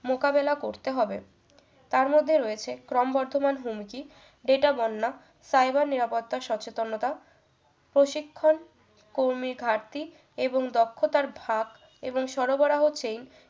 মোকাবেলা করতে হবে তার মধ্যে রয়েছে ক্রমবর্ধমান হুমকি data বন্যা cyber নিরাপত্তার সচেতনতা প্রশিক্ষণ কর্মীধারটি এবং দক্ষতার ভাগ এবং সরবরাহ change